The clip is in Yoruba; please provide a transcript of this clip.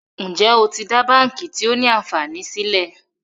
Njé o tí dá bánkì tio ní ànfàní sílè?